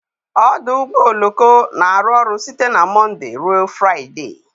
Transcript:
Ọdụ ụgbọ oloko na-arụ ọrụ site na Mọnde ruo Fraịde